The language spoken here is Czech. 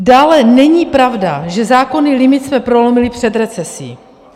Dále není pravda, že zákonný limit jsme prolomili před recesí.